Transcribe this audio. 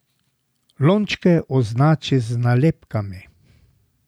Lončke označi z nalepkami.